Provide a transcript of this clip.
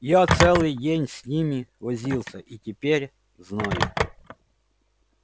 я целый день с ними возился и теперь знаю